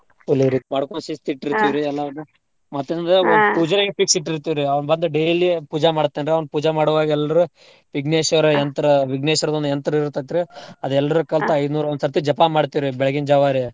ಅಲ್ಲಿ ರೀ ಸಿಸ್ತ ರೀ ಎಲ್ಲಾರ್ನೂ ಪೂಜಾರಿಗ್ fix ಇಟ್ಟಿರ್ತೀವ್ರಿ ಅವ್ನ್ ಬಂದ್ daily ಪೂಜಾ ಮಾಡ್ತಾನ್ರಿ. ಅವ್ನ್ ಪೂಜಾ ಮಾಡೂವಾಗ್ ಎಲ್ರೂ ವಿಘ್ನೇಶ್ವರ ವಿಘ್ನೇಶ್ವರದ್ ಒಂದ್ ಯಂತ್ರ ಇರ್ತೇತ್ರಿ. ಅದ್ನೆಲ್ರೂ ಐದ್ನೂರ್ ಒಂದ್ ಸರ್ತಿ ಜಪ ಮಾಡ್ತೇವ್ರಿ ಬೆಳಗ್ಗಿನ್ ಜಾವ ರೀ.